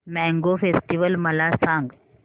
mango festival मला सांग